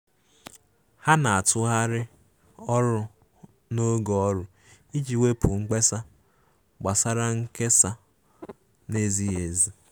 Ha na-atụgharị ọrụ n'oge ọrụ iji wepụ mkpesa gbasara nkesa na-ezighi ezi.